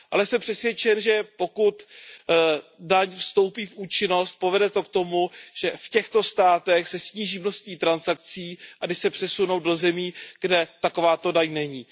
Ale jsem přesvědčen, že pokud daň vstoupí v účinnost, povede to k tomu, že v těchto státech se sníží množství transakcí a ty se přesunou do zemí, kde takováto daň není.